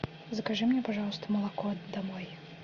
закажи мне пожалуйста молоко домой